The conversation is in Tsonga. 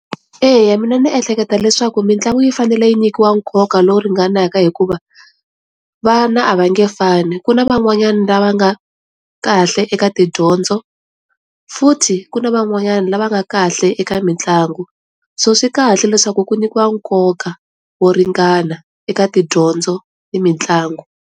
Eya mina ni ehleketa leswaku mitlangu yi fanele yi nyikiwa nkoka lowu ringanaka hikuva vana a va nge fani ku na van'wanyana lava nga kahle eka tidyondzo futhi ku na van'wanyana lava nga kahle eka mitlangu so swi kahle leswaku ku nyikiwa nkoka wo ringana eka tidyondzo ni mitlangu.